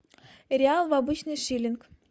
реал в обычный шиллинг